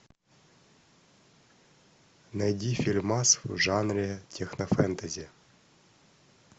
найди фильмас в жанре технофэнтези